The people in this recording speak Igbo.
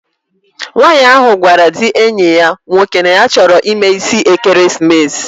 Nwaanyi ahu gwara di enyi ya nwoke, ya nye ya choro imee isi ekeremesis